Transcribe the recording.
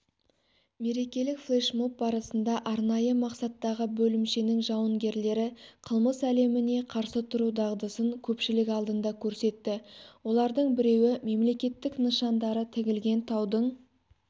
мерекелік флешмоб барысында арнайы мақсаттағы бөлімшенің жауынгерлері қылмыс әлеміне қарсы тұру дағдысын көпшілік алдында көрсетті олардың біреуі мемлекеттік нышандары тігілген таудың